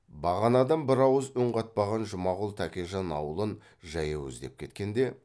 бағанадан бір ауыз үн қатпаған жұмағұл тәкежан аулын жаяу іздеп кеткенде